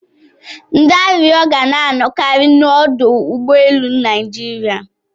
Ndị arịrịọ ga na-anọkari n'ọdụ ụgbọ elu Naịjiria.